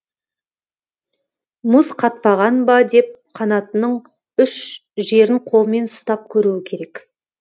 мұз қатпаған ба деп қанатының үш жерін қолмен ұстап көруі керек